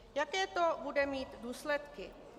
Jaké to bude mít důsledky?